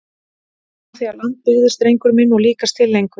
Frá því að land byggðist drengur minn og líkast til lengur!